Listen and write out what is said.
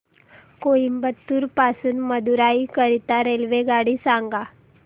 कोइंबतूर पासून मदुराई करीता रेल्वेगाडी सांगा